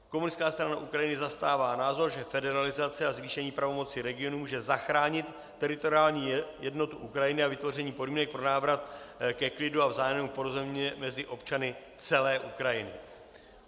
Komunistická strana Ukrajiny zastává názor, že federalizace a zvýšení pravomoci regionů může zachránit teritoriální jednotu Ukrajiny a vytvoření podmínek pro návrat ke klidu a vzájemnému porozumění mezi občany celé Ukrajiny.